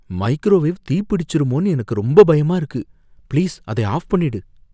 Microwave தீ பிடிச்சுருமோன்னு எனக்கு ரொம்ப பயமா இருக்கு. ப்ளீஸ் அதை ஆஃப் பண்ணிடு.